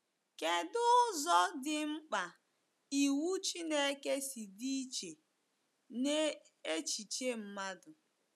Kedụ ụzọ dị mkpa iwu Chineke si dị iche n’echiche mmadụ?